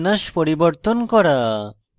2 স্থিতিবিন্যাস পরিবর্তন করা